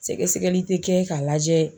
Sɛgɛsɛgɛli tɛ kɛ k'a lajɛ.